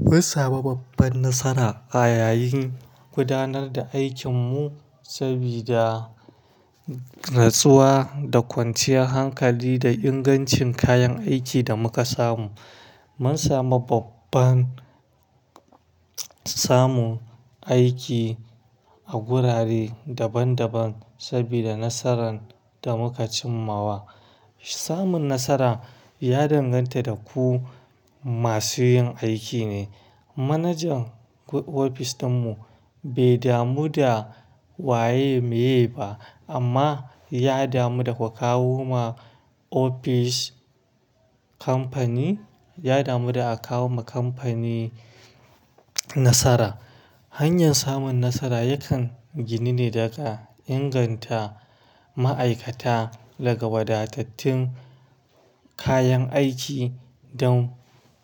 Mu sami babban nasara a yayin gudanar da aikinmu sabida nasuwa da kwanciyan hankali da ingancin kayan aikin da muka samu. Mun samu babban samu aiki a gurare daban-daban sabida nasaran da muka cimmawa. Samun nasara ya danganta da ku masu yin aiki ne. Manajan ofis ɗinmu bai damu da waye muye ba amma ya damu da ku kawo ma ofis kamfani, ya damu da a kawo ma kamfani nasara. Hanyar samun nasara yakan gini ne da aka inganta ma'aikata daga wadattun kayan aiki don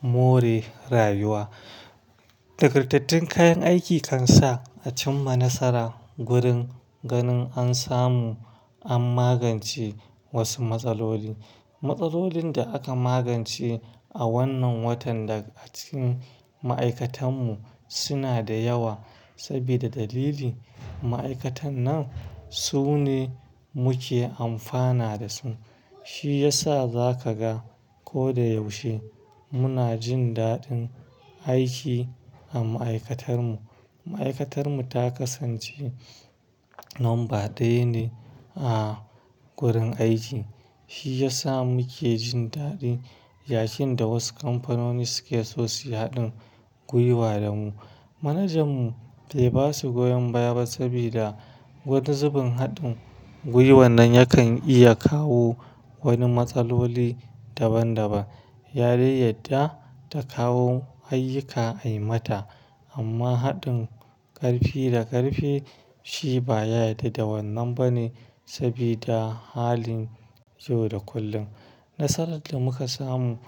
more rayuwa. Nagartattun kayan aiki kan sa a cimma nasara gurin ganin an samu an magance wasu matsaloli. Matsalolin da aka magance a wannan watan da a cikin ma'aikatanmu suna da yawa sabida dalili ma'aikatan nan su ne muke amfana da su. Shi ya sa za ka ga ko da yaushe muna jin daɗin aiki a ma'aikatarmu. Ma'aikatarmu ta kasance lamba ɗaya ne a gurin aiki. Shi ya sa muke jin daɗin, yayin da wasu kamfanoni suke so su yi haɗin gwiwa da mu. Manajanmu bai ba su goyon baya ba sabida wani zubin haɗin gwiwa nan yakan iya kawo wani matsaloli daban-daban. Yarin yadda ta kawo ayyuka ai mata amma haɗin ƙarfi da ƙarfi shi ba ya yarda da wannan ba ne sabida halin yau da kullum. Nasarar da muka samu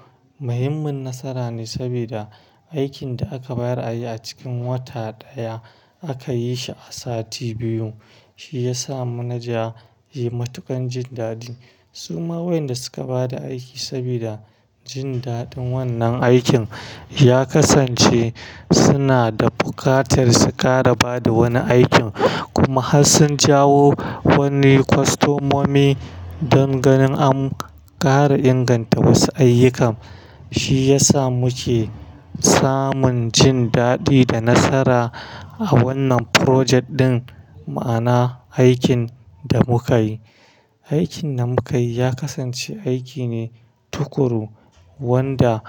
muhimmin nasara ne sabida aikin da aka bayar a yi a cikin wata ɗaya aka yi shi a sati biyu. Shi ya sa manaja yai matuƙan jin daɗi. Su ma wayanda suka ba da aiki sabida jin daɗin wannan aikin ya kasance suna da buƙatar su ƙara ba da wani aikin kuma har sun jawo wani kwastomomi don ganin an ƙara inganta wasu ayyuka. Shi ya sa muke samun jin daɗi da nasara a wannan project ɗin, ma'ana aikin da muka yi. Aikin da muka yi ya kasance aiki ne tukuru wanda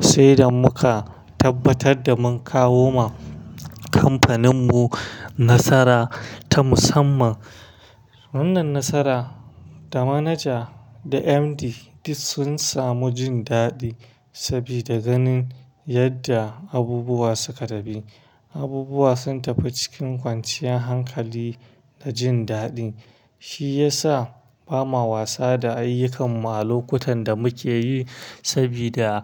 sai da muka tabbatar da mun kawo ma kamfaninmu nasara ta musamman. Wannan nasara, da manaja da MD duk sun samu jin daɗi sabida ganin yadda abubuwa suka dabi. Abubuwa sun tafi cikin kwanciyan hankali da jin daɗi. Shi ya sa bama wasa da ayyukanmu a lokutan da muke yi sabida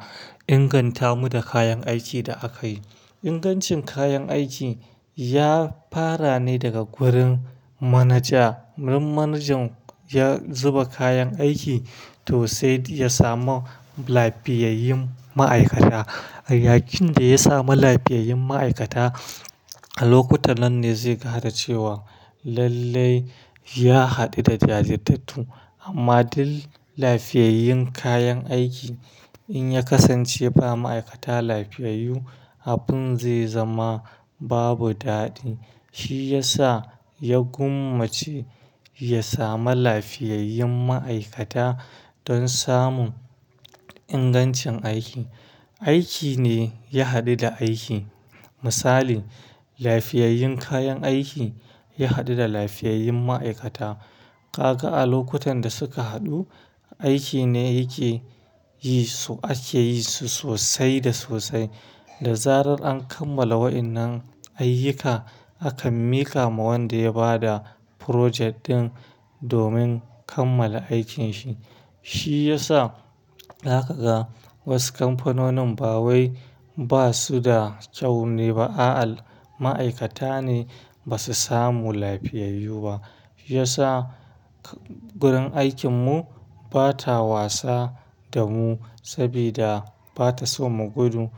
inganta mu da kayan aikin da aka yi. Ingancin kayan aiki ya fara ne daga gurin manaja. Wurin manajan ya zuba kayan aiki to sai ya samu lafiyayyun ma'aikata. Yayin da ya samu lafiyayyun ma'aikata, a lokutan nan ne zai ga cewa lallai ya haɗu da jajirtattu amma duk lafiyayyun kayan aiki in ya kasance ba ma'aikata lafiyayyu, abin zai zama babu daɗi. Shi ya sa ya gwammace ya samu lafiyayyun ma'aikata don samun ingancin aiki. Aiki ne ya haɗu da aiki. Misali, lafiyayyun kayan aiki ya haɗu da lafiyayyun ma'aikata. Gaga a lokutan da suka haɗu, aiki ne yake yi su ake yi su sosai da sosai. Da zarar an kammala waɗannan ayyuka, aka mika ma wanda ya ba da project ɗin domin kammala aikin shi. Shi ya sa za ka ga wasu kamfanonin ba wai ba su da kyau ne ba, a'a ma'aikata ne ba su samu lafiyayyu ba. Shi ya sa gurin aikinmu bata wasa da mu sabida bata so mu gudu.